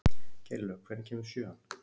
Geirlaug, hvenær kemur sjöan?